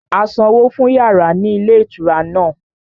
A sanwó fún yàrá ní ilé ìtura náà